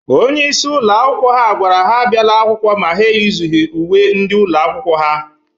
Onyeisi ụlọ akwụkwọ ha gwara ha abiala akwụkwọ ma ha eyizughi uwe ndị ụlọ akwụkwọ ha.